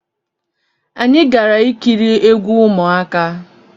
Anyi gara ikiri egwu ụmụaka